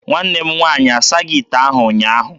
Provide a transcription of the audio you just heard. Nwanne m nwaanyị asaghị ite ahụ ụnyaahụ.